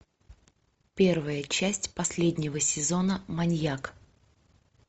первая часть последнего сезона маньяк